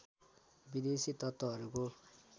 विदेशी तत्त्वहरूको